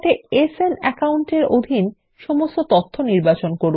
একসঙ্গে সান অ্যাকাউন্টে অধীন সমস্ত তথ্য নির্বাচন করুন